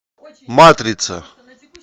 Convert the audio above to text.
матрица